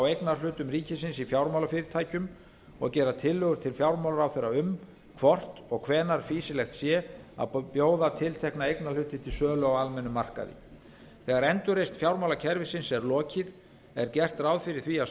eignarhlutum ríkisins í fjármálafyrirtækjum og gera tillögur til fjármálaráðherra um hvort og hvenær fýsilegt sé að bjóða tiltekna eignarhluti til sölu á almennum markaði þegar endurreisn fjármálakerfisins er lokið er gert ráð fyrir því að